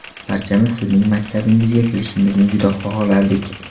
Barchamiz Sizning maktabimizga kelishingizni juda xohlardik.